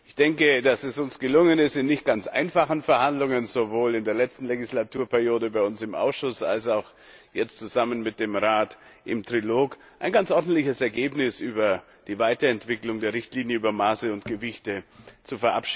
Ich denke, dass es uns gelungen ist, in nicht ganz einfachen Verhandlungen sowohl in der letzten Legislaturperiode bei uns im Ausschuss als auch jetzt zusammen mit dem Rat im Trilog ein ganz ordentliches Ergebnis über die Weiterentwicklung der Richtlinie über Maße und Gewichte zu erzielen.